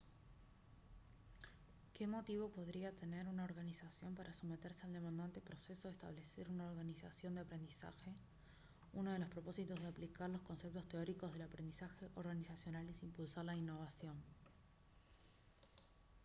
¿qué motivo podría tener una organización para someterse al demandante proceso de establecer una organización de aprendizaje? uno de los propósitos de aplicar los conceptos teóricos del aprendizaje organizacional es impulsar la innovación